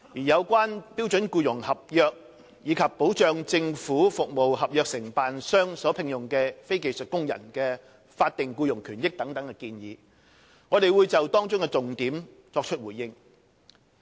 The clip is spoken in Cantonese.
有關標準僱傭合約及保障政府服務合約承辦商所聘用的非技術工人的法定僱傭權益等建議，我會就當中的重點作出回應。